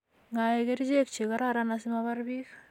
Ngoek kerichek che kororon asimapar bik